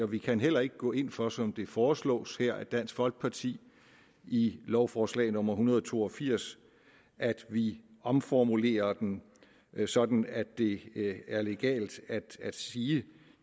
vi kan heller ikke gå ind for som det foreslås her af dansk folkeparti i lovforslag nummer en hundrede og to og firs at vi omformulerer den sådan at det er legalt at sige